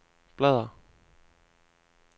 bladr